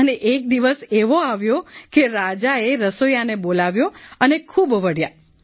અને એક દિવસ એવો આવ્યો કે રાજાએ રસોઈયાને બોલાવ્યો અને ખૂબ વઢ્યા